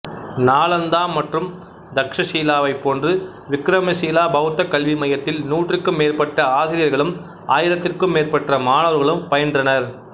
நாளாந்தா மற்றும் தக்சசீலாவைப் போன்று விக்கிரமசீலா பௌத்தக் கல்வி மையத்தில் நூற்றிக்கும் மேற்பட்ட ஆசிரியர்களும் ஆயிரத்திற்கும் மேற்பட்ட மாணவர்களும் பயின்றனர்